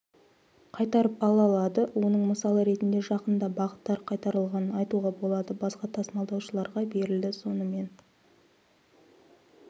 қайтарып ала алады оның мысалы ретінде жақында бағыттар қайтарылғанын айтуға болады басқа тасымалдаушыларға берілді сонымен